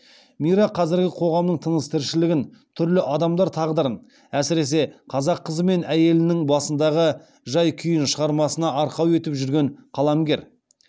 мира қазіргі қоғамның тыныс тіршілігін түрлі адамдар тағдырын әсіресе қазақ қызы мен әйелінің басындағы жай күйін шығармасына арқау етіп жүрген қаламгер